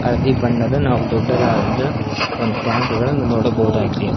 ಹಳದಿ ಬಣ್ಣದ ನಾವು ದೊಡ್ಡದಾದ ಒಂದು ಟ್ಯಾಂಕ್ ಗಳು ನೋಡಬಹುದಾಗಿದೆ.